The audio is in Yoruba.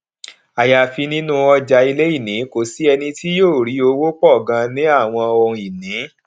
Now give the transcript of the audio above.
àyàfi nínú ọjà iléìní kò sí ẹni tí yóò rí owó pọ ganan ní àwọn ohunìní